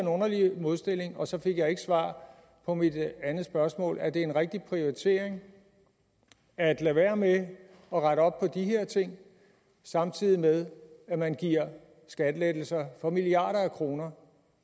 underlig modstilling og så fik jeg ikke svar på mit andet spørgsmål er det en rigtig prioritering at lade være med at rette op på de her ting samtidig med at man giver skattelettelser for milliarder af kroner